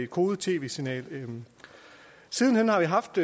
kodet tv signal siden hen har vi haft